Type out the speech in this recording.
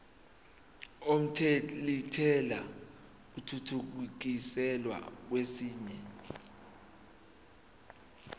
omthelintela athuthukiselwa kwesinye